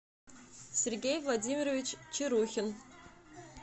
сергей владимирович чарухин